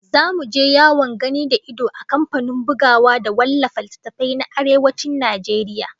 Zamu je yawon gani da ido a kamfanin bugawa da wallafa littattafai na Arewacin Najeriya